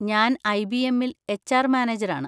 ഞാൻ ഐ.ബി.എമ്മിൽ എച്.ആര്‍. മാനേജരാണ്.